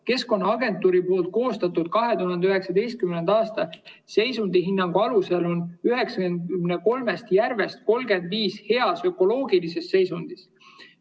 Keskkonnaagentuuri koostatud 2019. aasta seisundihinnangu alusel on 93 järvest 35 heas ökoloogilises seisundis.